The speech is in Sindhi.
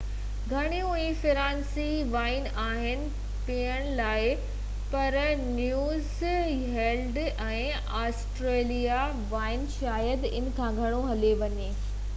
گهڻيون ئي فرانسيسي وائين آهن پيئڻ لاءِ پر نيوزيلينڊ ۽ آسٽريلوي وائين شايد ان کان گهڻو هلي وڃن